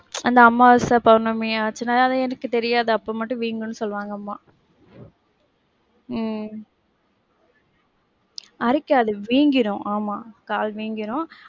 அந்த அம்மாவாச பௌர்ணமி ஆச்சினா ஆனா எனக்கு தெரியாது அப்போ மட்டும் வீங்கும்ன்னு சொல்லுவாங்க அம்மா. உம் அரிக்காது வீங்கிரும். ஆமா, கால் வீங்கிரும்.